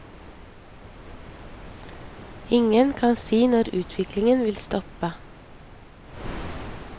Ingen kan si når utviklingen vil stoppe.